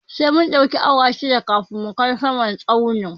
Sai mun ɗauki awa shida kafin mu kai saman tsaunin